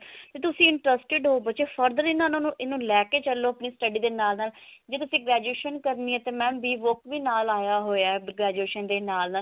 ਕੀ ਤੁਸੀਂ interested ਹੋ ਬੱਚੇ further ਇਹਨਾਂ ਨੂੰ ਇਹਨੂੰ ਲੈਕੇ ਚੱਲੋ study ਦੇ ਨਾਲ ਨਾਲ ਜੇ ਤੁਸੀਂ graduation ਕਰਨੀ ਹੈ ਤੇ mam rework ਵੀ ਨਾਲ ਆਇਆ ਹੋਇਆ graduation ਦੇ ਨਾਲ